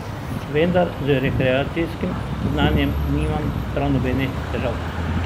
Vendar z rekreacijskim znanjem nimam prav nobenih težav.